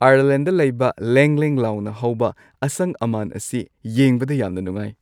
Ireland ꯂꯩꯕ ꯂꯦꯡ-ꯂꯦꯡ ꯂꯥꯎꯅ ꯍꯧꯕ ꯑꯁꯪ-ꯑꯃꯥꯟ ꯑꯁꯤ ꯌꯦꯡꯕꯗ ꯌꯥꯝꯅ ꯅꯨꯡꯉꯥꯏ꯫